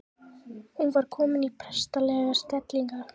Hún var komin í prestslegar stellingar.